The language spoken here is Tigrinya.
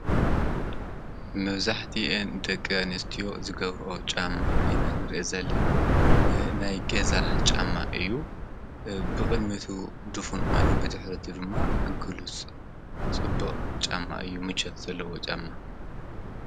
መብዙሕቲኤን ደቀ ንስትዮ ዝገብርኦ ጫማ ኢናንርኢ ዘለና ናይ ገዛ ጫማ እዩ ብቕድሜቱ ድፉን ዃይኑን ብትኅረቱ ድማ ግሉጽ ጽቡዕ ጫማ እዩ ምጨት ዘለዎ ጫማ እዩ።